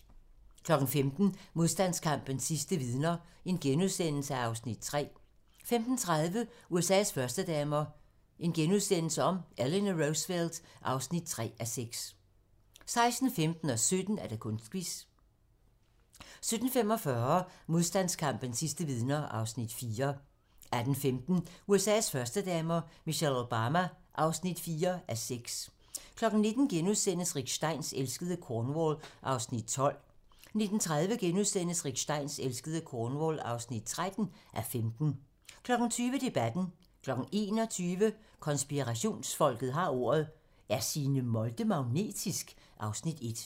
15:00: Modstandskampens sidste vidner (Afs. 3)* 15:30: USA's førstedamer - Eleanor Roosevelt (3:6)* 16:15: Kunstquiz 17:00: Kunstquiz 17:45: Modstandskampens sidste vidner (Afs. 4) 18:15: USA's førstedamer - Michelle Obama (4:6) 19:00: Rick Steins elskede Cornwall (12:15)* 19:30: Rick Steins elskede Cornwall (13:15)* 20:00: Debatten 21:00: Konspirationsfolket har ordet - Er Signe Molde magnetisk? (Afs. 1)